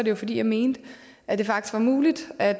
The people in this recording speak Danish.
jo fordi jeg mente at det faktisk var muligt at